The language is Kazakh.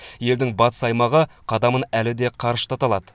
елдің батыс аймағы қадамын әлі де қарыштата алады